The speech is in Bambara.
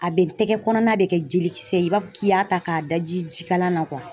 A bɛ tɛgɛ kɔnɔna de kɛ jelikisɛ i b'a fɔ k'i y'a ta k'a daji ji kalan na